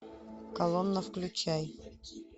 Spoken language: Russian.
колонна включай